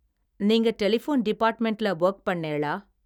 நீங்க டெலிபோன் டிபார்ட்மெண்ட்ல வொர்க் பண்ணேளா.